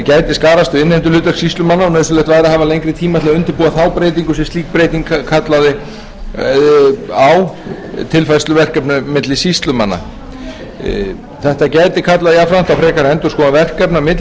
gæti skarast við innheimtuhlutverk sýslumanna og nauðsynlegt væri að hafa lengri tíma til að undirbúa þá breytingu þar sem slík breyting kallaði á tilfærslu verkefna milli sýslumanna þetta gæti kallað jafnframt á frekari endurskoðun verkefna milli